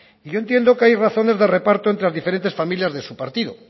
yo entiendo que hay razones de reparto entre las diferentes familias de su partido